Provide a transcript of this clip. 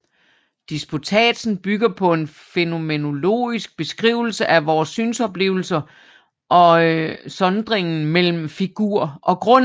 Disputatsen bygger på en fænomenologisk beskrivelse af vore synsoplevelser og sondringen mellem figur og grund